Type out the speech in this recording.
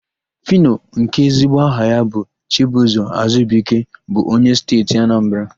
Fino, nke ezigbo aha ya bụ Chibụzọ Azubuike bụ onye Steeti Anambara.